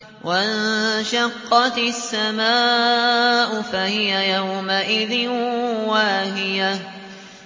وَانشَقَّتِ السَّمَاءُ فَهِيَ يَوْمَئِذٍ وَاهِيَةٌ